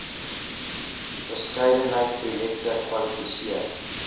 verskeidenheid projekte kwalifiseer